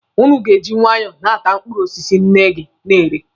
Ụnụ ga-eji nwaayọ na-ata mkpụrụ osisi nne gị na-ere.